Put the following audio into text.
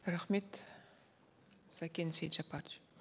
рахмет сакен сейтжаппарович